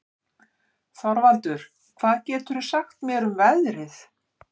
Þorvaldur, hvað geturðu sagt mér um veðrið?